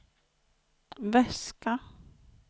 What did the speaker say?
väska